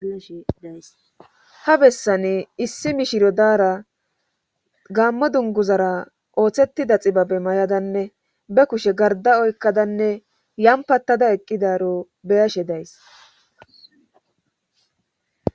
Ha bessani issi mishiro daara gaammo dunguzara ooththettida xibabe may7adanne be kushe garda oykkadanne yampattada eqqidaro beyashe days.